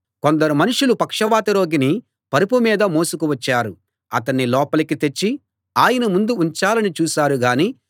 కొందరు మనుషులు పక్షవాత రోగిని పరుపు మీద మోసుకు వచ్చారు అతణ్ణి లోపలికి తెచ్చి ఆయన ముందు ఉంచాలని చూశారు గాని